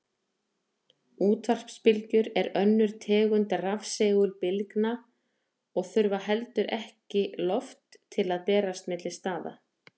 Útvarpsbylgjur eru önnur tegund rafsegulbylgna og þurfa heldur ekki loft til að berast milli staða.